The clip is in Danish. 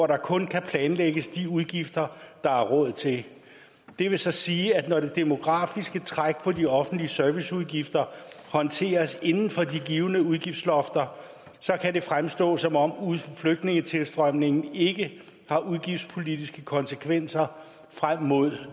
der kun kan planlægges med de udgifter der er råd til det vil så sige at når det demografiske træk på de offentlige serviceudgifter håndteres inden for de givne udgiftslofter kan det fremstå som om flygtningetilstrømningen ikke har udgiftspolitiske konsekvenser frem mod